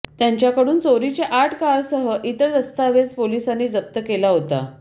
त्यांच्याकडून चोरीचे आठ कारसह इतर दस्तावेज पोलिसांनी जप्त केला होता